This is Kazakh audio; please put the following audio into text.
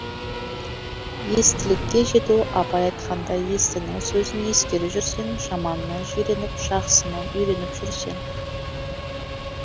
естілікке жету абай айтқандай естінің сөзін ескере жүрсең жаманынан жиреніп жақсысын үйреніп жүрсең